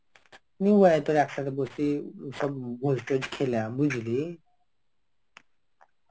নিয়ে আই তোর একসাথে বসিয সব ভোজ টোজ খেলাম বুঝলি.